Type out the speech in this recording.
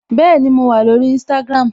Bẹẹni, mo wà lórí Instagram